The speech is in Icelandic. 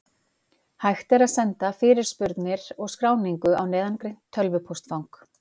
Hægt er að senda fyrirspurnir og skráningu á neðangreint tölvupóstfang.